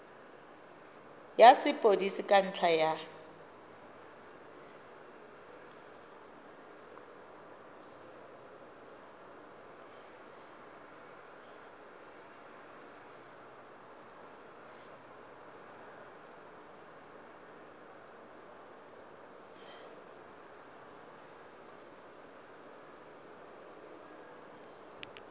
ya sepodisi ka ntlha ya